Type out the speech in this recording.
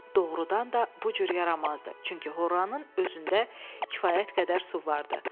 Doğrudan da bu cür yaramazdı, çünki horanın özündə kifayət qədər su var idi.